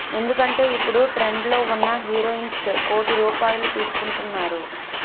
ఎందుకంటే ఇప్పుడు ట్రెండ్ లో వున్న హీరోయిన్స్ కోటి రూపాయిలు తీసుకుంటున్నారు